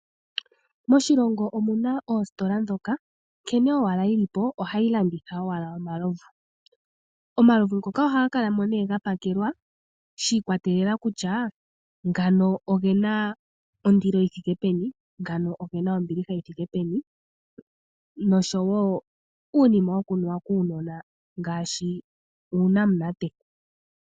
Moshilongo omuna oositola dhoka nkene owala yilipo ohayi landitha owala omalovu. Omalovu ngoka ohaga kalamo ne gapakelwa shi ikwatelela kusha ngano ogena ondilo yithike peni, ngano ogena ombiliha yithike peni noshowo uunima wukunuwa kuunona ngaashi uunamunate.